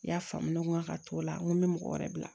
I y'a faamu ko ŋa ka t'o la ŋo n bɛ mɔgɔ wɛrɛ bila